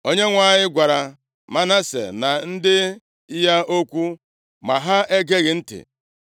Onyenwe anyị gwara Manase na ndị ya okwu, ma ha egeghị ntị.